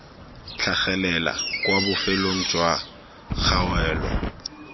tlhagelela kwa bofelong jwa kgaolo